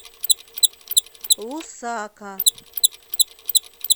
лусака